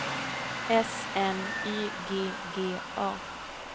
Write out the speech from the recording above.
S N Y G G A